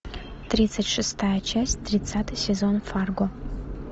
тридцать шестая часть тридцатый сезон фарго